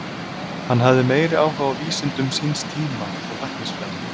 Hann hafði meiri áhuga á vísindum síns tíma og læknisfræði.